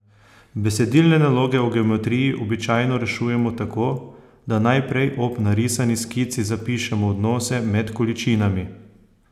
Besedilne naloge o geometriji običajno rešujemo tako, da najprej ob narisani skici zapišemo odnose med količinami.